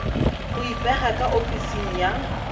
go ipega ka ofising ya